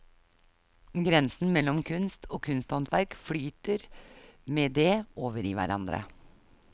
Grensen mellom kunst og kunsthåndverk flyter med det over i hverandre.